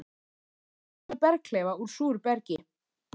í tengslum við berghleifa úr súru bergi.